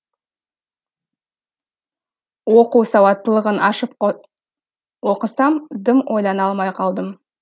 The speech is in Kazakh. оқу сауатттылығын ашып оқысам дым ойлана алмай қалдым